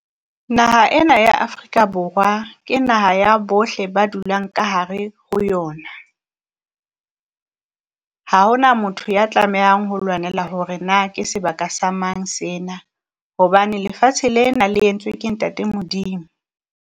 Naha ena ya Afrika Borwa ke naha ya bohle ba dulang ka hare ho yona. Ha ho na motho ya tlamehang ho lwanela hore na ke sebaka sa mang sena hobane lefatshe lena le entswe ke Ntate Modimo.